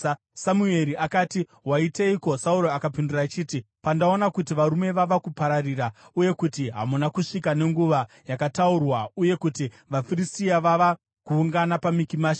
Samueri akati, “Waiteiko?” Sauro akapindura achiti, “Pandaona kuti varume vava kupararira, uye kuti hamuna kusvika nenguva yakataurwa, uye kuti vaFiristia vava kuungana paMikimashi,